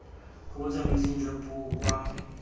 kwa botsamaising jwa puo kwa